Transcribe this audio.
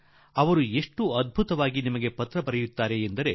ನಿಮ್ಮನ್ನು ಮೋಸ ಮಾಡುವವರು ಬಹಳ ಉತ್ತಮ ರೀತಿಯಲ್ಲಿ ಪತ್ರ ಬರೆಯುತ್ತಾರೆ